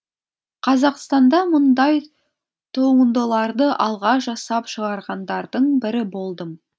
қазақстанда мұндай туындыларды алғаш жасап шығарғандардың бірі болдым